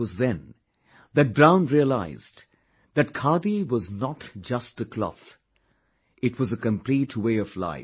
It was then, that Brown realised that khadi was not just a cloth; it was a complete way of life